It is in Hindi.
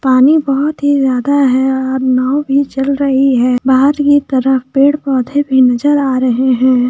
पानी बहुत ही ज्यादा हैं और नाव भी चल रही हैं बाहर एक तरफ पेड पौधे भी नजर आ रहे हैं ।